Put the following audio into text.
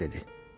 qız dedi.